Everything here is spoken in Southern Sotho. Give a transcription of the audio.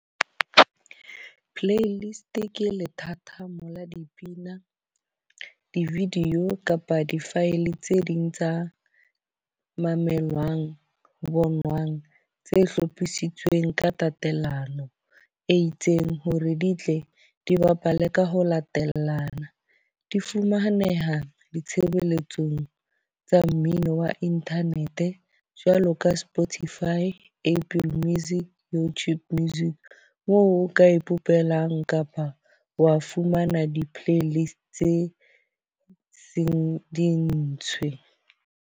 Playlist ke lethathamo la dipina di-video kapa di-file tse ding tsa mamelang, bonwang tse hlophisitsweng ka tatelano e itseng hore di tle di bapale ka ho latelana. Di fumaneha ditshebeletsong tsa mmino wa internet. Jwalo ka Spotify, Apple Music, YouTube Music, moo o ka e kopelang kapa wa fumana di-play list tse seng di ntshwe.